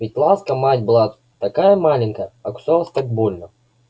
ведь ласка мать была такая маленькая а кусалась так больно